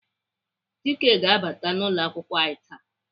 Chieke ga-abata n'ụlọakwụkwọ anyị taa.